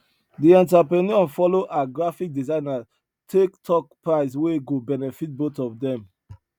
the entrepreneur follow her graphic designer take talk price wey go benefit both of them